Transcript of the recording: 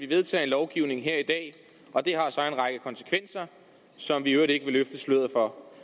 vedtage en lovgivning og det har så en række konsekvenser som vi i øvrigt ikke vil løfte sløret for